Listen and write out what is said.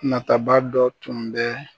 Nataba dɔ tun bɛ